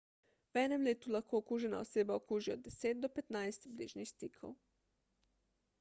v enem letu lahko okužena oseba okuži od 10 do 15 bližnjih stikov